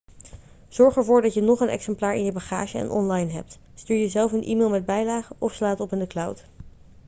zorg ervoor dat je nog een exemplaar in je bagage en online hebt stuur jezelf een e-mail met bijlage of sla het op in de cloud